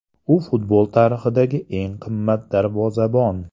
U futbol tarixidagi eng qimmat darvozabon.